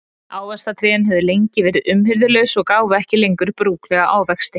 Ávaxtatrén höfðu lengi verið umhirðulaus og gáfu ekki lengur brúklega ávexti.